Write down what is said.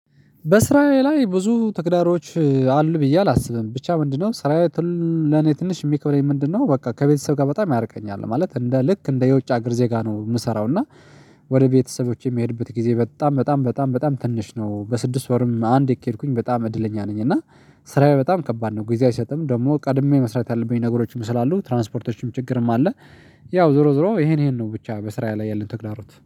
በስራዬ ላይ ብዙ ተግዳሮች አሉ ብዬ አላስብም ብቻ ምንድነው? ስራዬትል ለኔ ትንሽ የሚከብደኝ ምንድነው? በቃ ከቤተሰብ ጋር በጣም ያርቀኛል ማለት እንደ ልክ እንደ የውጭ ሀገር ዜጋ ነው የምሰራው እና ወደ ቤተሰቦቼ የሚሄድበት ጊዜ በጣም በጣም በጣም በጣም ትንሽ ነው። በስድስት ወርም አንዴ ከሄድኩኝ በጣም እድለኛ ነኝ። እና ስራዬ በጣም ከባድ ነው ጊዜ አይሰጥም ደግሞ ቀድሜ መስራት አለብኝ ነገሮችም ስላሉ ትራንስፖርቴሽን ችግርም አለ። ያው ዞሮ ዞሮ ይሄን ይሄን ነው ብቻ በስራ ላይ ያለን ተግዳሮት